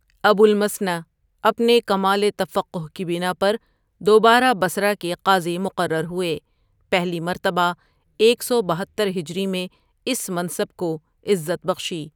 ابو المثنیٰ اپنے کمال تفقہ کی بنا پر دوبارہ بصرہ کے قاضی مقرر ہوئے، پہلی مرتبہ ایک سو بہتر ھ میں اس منصب کو عزت بخشی.